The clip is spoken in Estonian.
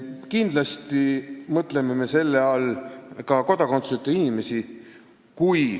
Kindlasti mõtleme me selle all ka kodakondsuseta inimesi.